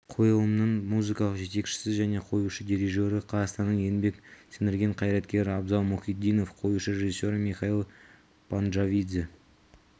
қойылымның музыкалық жетекшісі және қоюшы дирижері қазақстанның еңбек сіңірген қайраткері абзал мұхитдинов қоюшы режиссері михаил панджавидзе